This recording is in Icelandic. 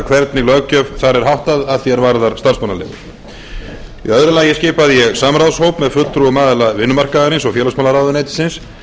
hvernig löggjöf þar er háttað að því er varðar starfsleigur í öðru lagi skipaði ég samráðshóp með fulltrúum aðila vinnumarkaðarins og félagsmálaráðuneytisins